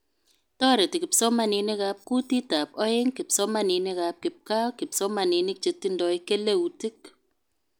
Toretekipsomaninkab kutitab aeng, kipsomaninikab kipgaa, kipsomaninik chetindoi keleutik